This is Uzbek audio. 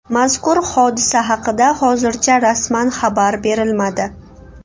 Mazkur hodisa haqida hozircha rasman xabar berilmadi.